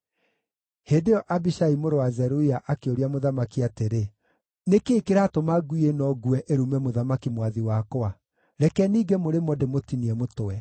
Hĩndĩ ĩyo Abishai mũrũ wa Zeruia akĩũria mũthamaki atĩrĩ, “Nĩ kĩĩ kĩratũma ngui ĩno nguũ ĩrume mũthamaki mwathi wakwa? Reke ninge mũrĩmo ndĩmũtinie mũtwe.”